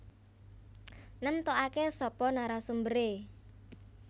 Nemtokake sapa narasumbere